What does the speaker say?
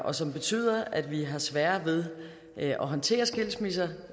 og som betyder at vi har sværere ved at håndtere skilsmisser